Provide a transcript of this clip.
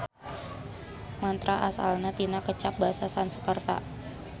Mantra asalna tina kecap basa Sanskerta.